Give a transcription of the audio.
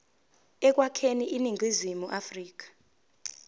ekwakheni iningizimu afrika